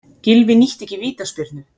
Gylfi nýtti ekki vítaspyrnu